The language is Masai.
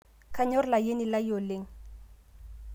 kanyor layieni lai oleng